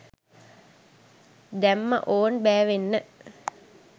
දැම්මා ඕන් බෑවෙන්න